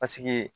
Paseke